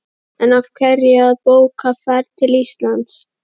En af hverju að bóka ferð til Íslands?